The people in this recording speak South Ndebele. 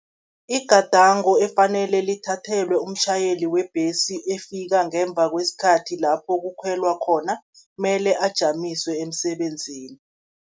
Igadango ekufanele lithathelwe umtjhayeli webhesi, efika ngemva kwesikhathi lapho kukhwelwa khona, mele ajanyiswe emsebenzini.